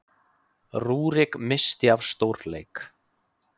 Rúrik missti af stórleik